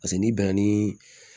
Paseke n'i bɛnna ni